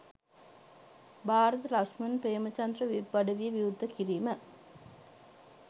Bharatha Lakshman Premachandra web අඩවිය විවෘත කිරිම